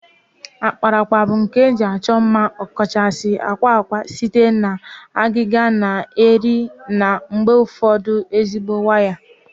Akparaakpa bụ nka nke ihe eji achọ mma, ọkachasị akwa akwa, site na agịga na eri na mgbe ụfọdụ ezigbo waya